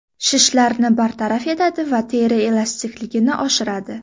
Shishlarni bartaraf etadi va teri elastikligini oshiradi.